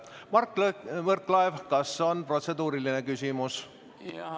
Mart Võrklaev, kas on protseduuriline küsimus?